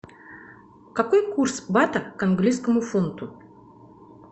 какой курс бата к английскому фунту